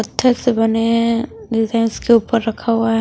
पत्थर से बने हैं के ऊपर रखा हुआ है।